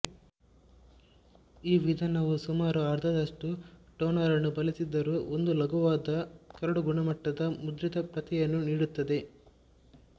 ಈ ವಿಧಾನವು ಸುಮಾರು ಅರ್ಧದಷ್ಟು ಟೋನರನ್ನು ಬಳಸಿದರೂ ಒಂದು ಲಘುವಾದ ಕರಡುಗುಣಮಟ್ಟದ ಮುದ್ರಿತ ಪ್ರತಿಯನ್ನು ನೀಡುತ್ತದೆ